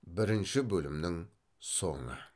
бірінші бөлімнің соңы